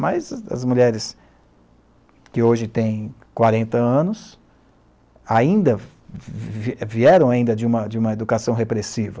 Mas as mulheres que hoje têm quarenta anos ainda vi vieram de uma de uma educação repressiva.